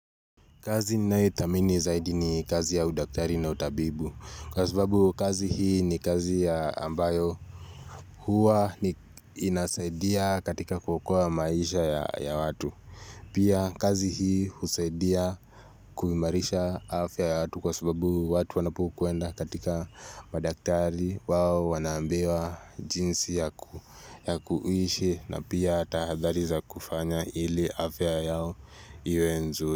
Kazi naetamini zaidi ni kazi ya udaktari na utabibu. Kwa sababu kazi hii ni kazi ya ambayo huwa inasaidia katika kuokoa maisha ya watu. Pia kazi hii usaidia kuimarisha afya ya watu kwa sababu watu wanapokuenda katika madaktari wao wanaambiwa jinsi ya kuishi na pia tahadhari za kufanya ili afya yao iwe nzuri.